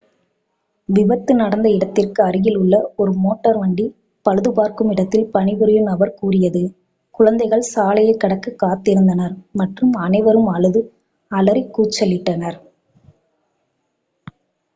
"விபத்து நடந்த இடத்திற்கு அருகிலுள்ள ஒரு மோட்டார் வண்டி பழுது பார்க்கும் இடத்தில் பணிபுரியும் நபர் கூறியது "குழந்தைகள் சாலையைக் கடக்க காத்திருந்தினர் மற்றும் அனைவரும் அழுது அலறி கூச்சலிட்டனர்"".